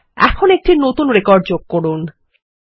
এখন একটি নতুন রেকর্ড যোগ করুন